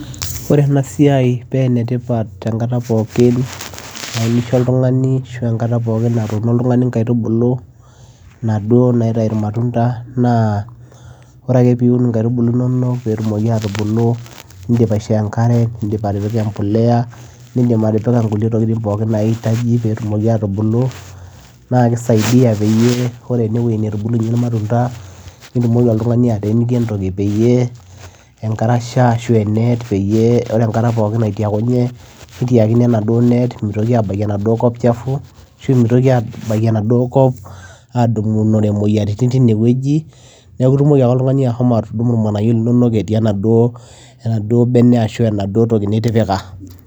ore ena siai penetipat enkata pookin naa kisho oltung'ani ashu enkata pokin natuno oltung'ani inkaitubulu inaduo naitai irmatunda naa ore ake piun inkaitubulu inonok petumoki atubulu nindip aishoo enkare nindipatipika empuleya nindip atipika inkulie tokiting pokin naitaji petumoki atubulu naa kisaidia peyie ore enewueji netubulunyie irmatunda nitumoki oltung'ani ateeniki entoki peyie enkarasha ashu enet peyie ore enkata pokin naitiakunye nitiakino enaduo net mitoki abaiki enaduo kop chafu ashu mitoki adoiki enaduo kop adumunore imoyiaritin tinewueji neku itumoki ake oltung'ani ahomo atudumu irng'anayio linonok etii enaduo enaduo bene ashu enaduo toki nitipika.